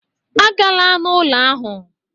Agala n'ụlọ ahụ!